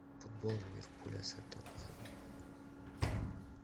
футбол ливерпуля с тоттенхэмом